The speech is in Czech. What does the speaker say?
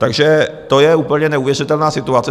Takže to je úplně neuvěřitelná situace.